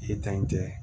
I ye tan in kɛ